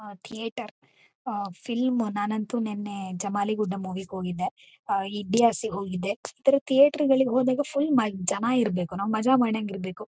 ಆ ಥೀಯೇಟರ್ ಆ ಫಿಲ್ಮ್ ನಾನಂತು ನೆನ್ನೆ ಜಮಾಲಿ ಗುಡ್ಡ ಮೂವಿ ಗೆ ಹೋಗಿದ್ದೆ. ಅಹ್ ಇಡಿಯಾಸ್ ಗೆ ಹೋಗಿದ್ದೆ. ಈ ತರ ಥೀಯೇಟರ್ ಗಳಿಗೆ ಹೋಗಿದ್ರು ಫುಲ್ ಜನ ಇರ್ಬೇಕು ಮಜಾ ಮಾಡಂಗೆ ಇರ್ಬೇಕು.